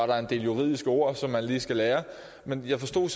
der en del juridiske ord som man lige skal lære men jeg forstod